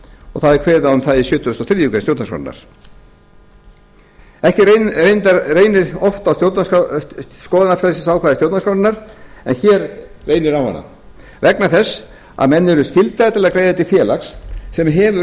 og það er kveðið á um það í sjötugasta og þriðju grein stjórnarskrárinnar ekki reynir oft á skoðanafrelsisákvæði stjórnarskrárinnar en hér reynir á hana vegna þess að menn eru skyldaðir til að greiða til félags sem hefur